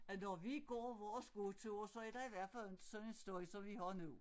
At når vi går vores gåtur så er der i hvert fald inte sådan en støj som vi har nu